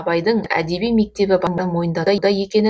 абайдың әдеби мектебі барын мойындатуда екенін